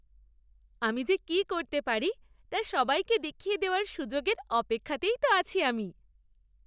আমি যে কি করতে পারি তা সবাইকে দেখিয়ে দেওয়ার সুযোগের অপেক্ষাতেই তো আছি আমি।